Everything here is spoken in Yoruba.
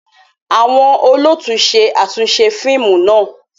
Awọn olóòtú ṣe atunṣe fíìmù náà